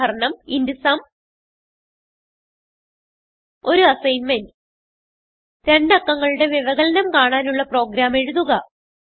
ഉദാഹരണംint സും ഒരു അസ്സിഗ്ന്മെന്റ് രണ്ട് അക്കങ്ങളുടെ വ്യവകലനം കാണാനുളള പ്രോഗ്രാം എഴുതുക